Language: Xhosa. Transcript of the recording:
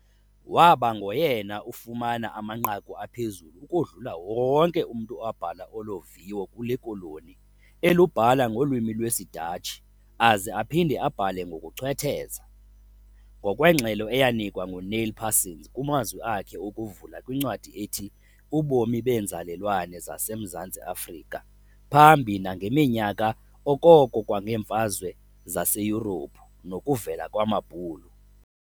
Waaba ngoyena ufumana amanqaku aphezulu ukodlula wonke umntu owabhala olo viwo kule Koloni elubhala ngolwimi lwesiDatshi aze aphinde abhale ngokuchwetheza, ngokwengxelo eyanikwa nguNeil Parsons kumazwi akhe okuvula kwincwadi ethi "Ubomi beenzalelwane zasemZantsi Afrika, Phambi nangeminyaka okoko kwangeemfazwe zaseYurophu novukelo lwamabhulu".